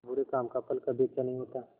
बुरे काम का फल कभी अच्छा नहीं होता